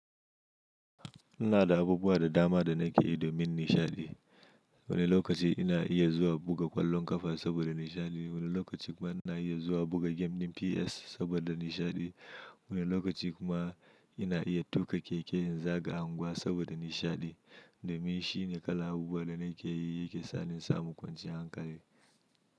Ina da abubuwa da dama da nake yi domin nishaɗi. Wani lokaci ina iya zuwa buga ƙwallon ƙafa saboda nishaɗi, wani lokaci kuma ina iya zuwa buga gemin PS saboda nishaɗi, wani lokaci kuma ina iya tuƙa keke in zaga unguwa saboda nishaɗi. Domin shi ne kalan abubuwa da nake yi yake sa ni in samu kwanciyar hankali.